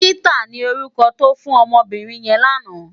Rita ni órúkò tò fún òmò óbìrín yèn làná